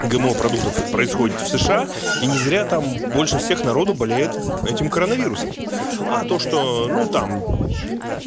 гмо продуктов происходит в сша и не зря там больше всех народу болеет этим коронавирусом а то что ну там